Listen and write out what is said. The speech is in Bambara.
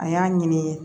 A y'a ɲini